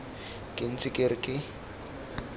ke ntse ke re ke